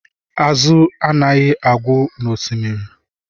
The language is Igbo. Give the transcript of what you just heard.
Azụ anaghị agwụ n'Osimiri